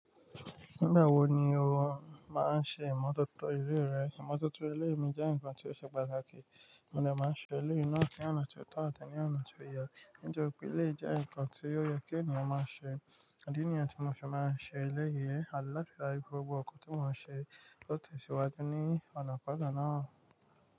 Nígbà wo ni o máa ń ṣe ìmọ̀tótó ilé rẹ? Ìmọ̀tótó ilé mi jẹ́ nǹkan tí ó ṣe pàtàkì, mo dẹ̀ máa ń ṣe eléyìí náà ní ọ̀nà tí ó tọ́ àti ní ọ̀nà tí ó yẹ. Nítorípé eléyìí jẹ́ nǹkan tí ó yẹ kí ènìyàn máa ṣe, ìdí nìyẹn tí mo ṣe máa ń ṣe eléyìí, àtí láti rí dájú pé gbogbo ǹkan tí mo ń ṣe, ó tẹ̀síwájú ní ọ̀nàkona náà.